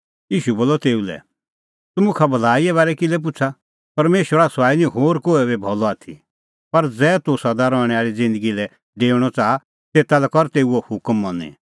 ईशू बोलअ तेऊ लै तूह मुखा भलाईए बारै किल्है पुछ़ा परमेशरा सुआई निं होर कोहै बी भलअ आथी पर ज़ै तूह सदा रहणैं आल़ी ज़िन्दगी लै डेऊणअ च़ाहा तेता लै कर तेऊओ हुकम मनी